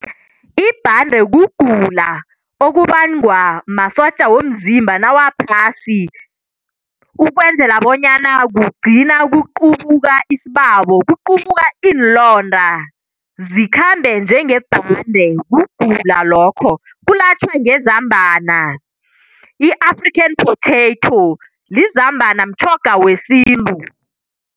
Ibhande kugula okubangwa masotja womzimba nawaphasi ukwenzela bonyana kugcina kuqubuka isibabo, kuqubuka iinlonda zikhambe njengebhande kugula lokho. Kulatjhwa ngezambana i-Afrian potato lizambana mtjhoga wesintu.